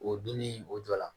O donni o jɔ la